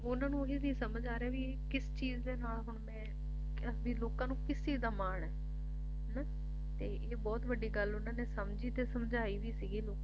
ਉਹਨਾਂ ਨੂੰ ਉਹੀ ਨੀ ਸਮਝ ਆ ਰਿਹਾ ਕੇ ਕਿਸ ਚੀਜ ਦੇ ਨਾਲ ਮੈਂ ਲੋਕਾਂ ਨੂੰ ਕਿਸ ਚੀਜ ਦਾ ਮਾਣ ਏ ਹਨਾਂ ਇਹ ਬਹੁਤ ਵੱਡੀ ਗੱਲ ਉਹਨਾਂ ਨੇ ਸਮਝੀ ਤੇ ਸਮਝਾਈ ਵੀ ਸੀਗੀ